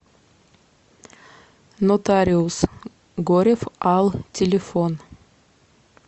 нотариус горев ал телефон